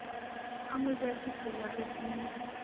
a mo jakisa jareteng ya